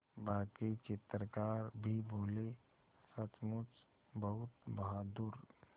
बाकी चित्रकार भी बोले सचमुच बहुत बहादुर